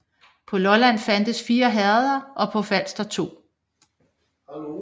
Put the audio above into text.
På Lolland fandtes 4 herreder og på Falster 2